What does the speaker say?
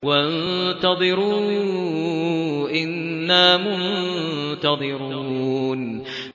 وَانتَظِرُوا إِنَّا مُنتَظِرُونَ